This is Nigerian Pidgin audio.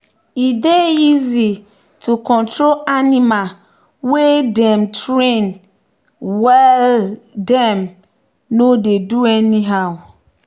e dey easy to control animal wey dem train wellthem no dey do anyhow